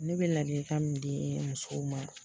Ne be ladili kan min di musow ma